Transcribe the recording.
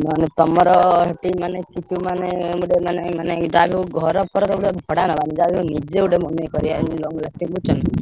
ନହେଲେ ତମର ସେଠି ମାନେ କିଛି ମାନେ ଗୋଟେ ମାନେ ମାନେ ଯାହାବି ହଉ ଘର ଫର ଭଡା ନବାନି। ଯାହାବି ହେଲେ ନିଜେ ଗୋଟେ ବନେଇକି କରିଆ ଯେମିତି long lasting ବୁଝୁଛ ନା?